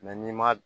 n'i ma